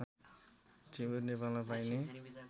टिमुर नेपालमा पाइने